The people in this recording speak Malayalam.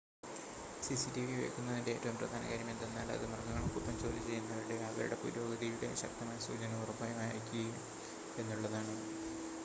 സിസിടിവി വെക്കുന്നതിൻ്റെ ഏറ്റവും പ്രധാന കാര്യം എന്തെന്നാൽ അത് മൃഗങ്ങൾക്കൊപ്പം ജോലിചെയ്യുന്നവരുടേയും അവരുടെ പുരോഗതിയുടേയും ശക്തമായ സൂചന ഉറപ്പായും അയയ്ക്കും എന്നുള്ളതാണ്